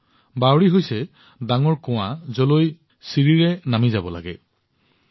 খটখটি কুঁৱা এনেকুৱা যত মানুহে চিৰিৰে নামি আহে আৰু উপস্থিত হয়